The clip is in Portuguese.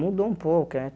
Mudou um pouco, eh?